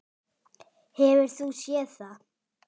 Hefur þú séð það?